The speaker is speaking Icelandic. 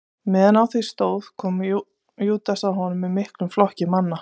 Meðan á því stóð kom Júdas að honum með miklum flokki manna.